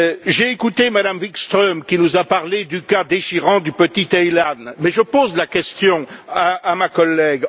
J'ai écouté Mme Wikström qui nous a parlé du cas déchirant du petit Aylan, mais je pose la question à ma collègue.